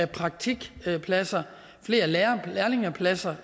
praktikpladser flere lærlingepladser